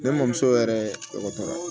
Ne mɔmuso yɛrɛ dɔgɔtɔrɔya